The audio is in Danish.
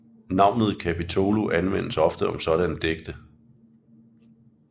Navnet capitolo anvendtes ofte om sådanne digte